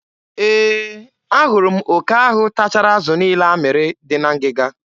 E, a hụrụ m oke ahụ tachara azụ niile a mmịrị dị na ngịga.